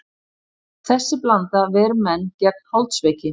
Þessi blanda ver menn gegn holdsveiki.